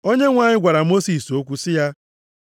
Onyenwe anyị gwara Mosis okwu sị ya,